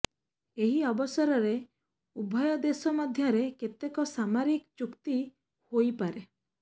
ଏହି ଅବସରରେ ଉଭୟ ଦେଶ ମଧ୍ୟରେ କେତେକ ସାମରିକ ଚୁକ୍ତି ହୋଇପାରେ